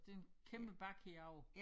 Det en kæmpe bakke herovre